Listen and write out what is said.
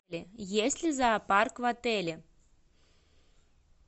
есть ли зоопарк в отеле